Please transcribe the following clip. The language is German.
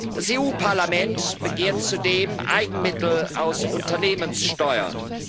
Das EU Parlament begehrt zudem Eigenmittel aus Unternehmenssteuern.